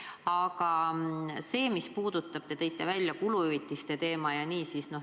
Aga te tõite välja kuluhüvitiste teema.